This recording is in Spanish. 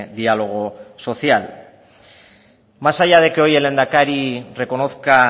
diálogo social más allá de que hoy el lehendakari reconozca